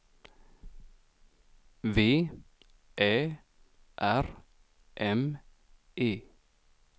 V Ä R M E